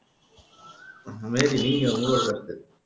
மேரி நீங்க உங்களோட கருத்து